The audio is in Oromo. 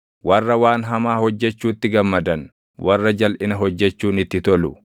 warra waan hamaa hojjechuutti gammadan, warra jalʼina hojjechuun itti tolu,